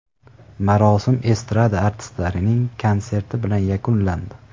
Marosim estrada artistlarining konserti bilan yakunlandi.